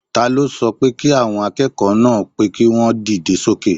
Taló sọ pé kí àwọn akẹ́kọ̀ọ́ náà pé kí wọ́n dìde sókè?